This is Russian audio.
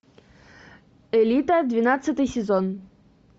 элита двенадцатый сезон